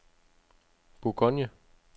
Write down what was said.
Bourgogne